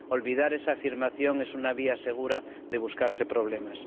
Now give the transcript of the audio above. Olvidar esa afirmación es una vía segura de buscarse problemas.